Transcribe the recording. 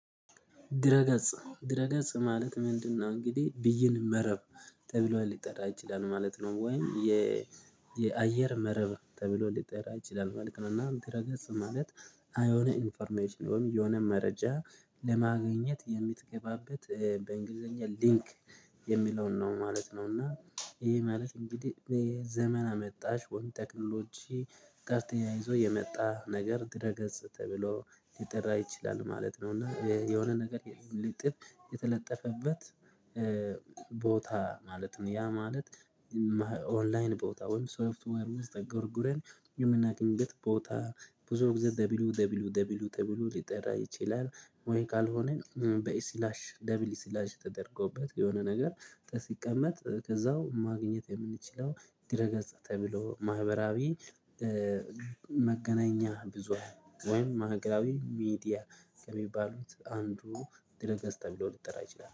ድረ ገጽ ድረ ገጽ ማለት ምንድነው? እንግዲህ ብይን መረብ ተብሏል ሊጠራ ይችላል ማለት ነው። ወይም የየአየር መረብ ተብሎ ሊጠራ ይችላል ማለት ነው። እና ድረረገጽ ማለት አይሆነ ኢንፎርሜሽን ወይም የሆነ መረጃ ለማግኘት የምትገባበት በእንግሊዘኛ ሊንክ የሚለውን ነው ማለት ነው። እና ይሄ ማለት እንግዲህ ዘመን አመጣሽ ወይም ጠቅልሎቼ ጋር ተያይዞ የመጣ ነገር ድረ ገጽ ተብሎ ሊጠራ ይችላል ማለት ነው። እና የሆነ ነገር የለም ልጥብ የተለጠፈበት ቦታ ማለት ነው። ያ ማለት ኦንላይን ቦታ ወይም ሶፍትወር ውስጥ ጎርጎረን ዩመና ግንብት ቦታ ብዙ ጊዜ ደቢሉ ደቢሉ ደቢሉ ደብሉ ሊጠራ ይችላል። ወይ ካልሆነ በኢስላሽ ደብል ኢስላሽ ተደርጎበት የሆነ ነገር ሲቀመጥ ከዛው ማግኘት የምንችለው ድረ ገጽ ተብሎ ማህበራዊ መገናኛ ብዙ ወይም ማህበራዊ ሚዲያ ከሚባሉት አንዱ ድረ ገጽ ተብሎ ሊጠራ ይችላል